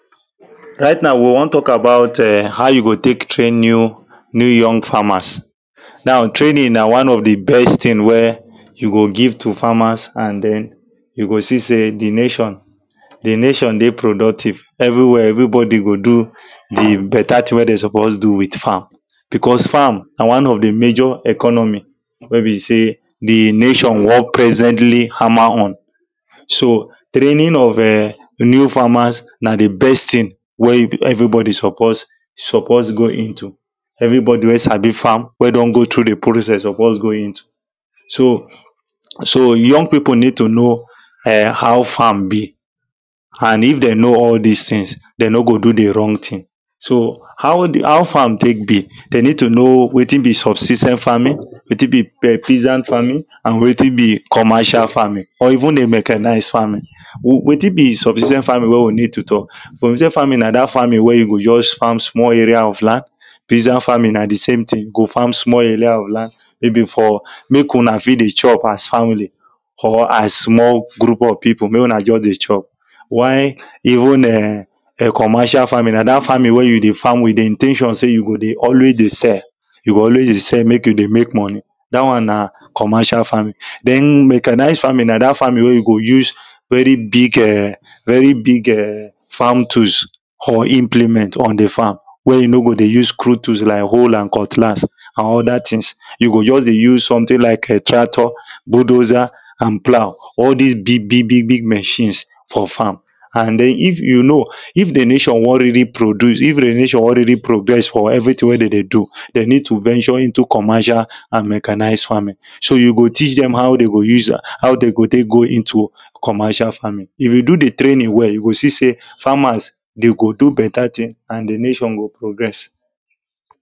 right now we wan talk about e?n how you take train new new young farmers now training na one of the best thing wey you go give to farmers and then you go see say the nation the nation dey productive everywhere everybody go do the better thing wey them suppose do with farm because farm na one of the major economy wey be say the nation wan presently hammer on so training of e?n new farmers na the best thing wey you everybody suppose suppose go into everybody wey sabi farm wey don go through the process suppose go into so so young people need to know e?n how farm be and if they know all this things they no go do the wrong thing so how the how farm take dey they need to know wetin be substi ten t farming wetin be pe peasant farming and wetin be commercial farming or even a mechanized farming we wetin be substi ten t farming wey we need to talk substi ten t farming na that farming wey you go just farm small area of land peasant farming na the same thing you go farm small area of land maybe for make una fit dey chop as family or as small group of people make una just dey chop while even e?n e?n commercial farming na that farming wey you dey farm with the in ten tion say you go dey always dey sell you always dey sell make you dey make money that one na commercial farming then mechanized farming na that farming wey you go use very big e?n very big e?n farm tools or implement on the farm wey you no go dey use crude tools like hoe and cutlass and other things you go just dey use something like tractor bulldozer and plough all this big big big big machines for farm and then if you know if the nation wan really produce if the nation wan really progress for everything wey they dey do they need to venture into commercial and mechanized farming so you go teach them how them go use am how them go take go into commercial farming if you do the training well you go see say farmers they go do better thing and the nation go progress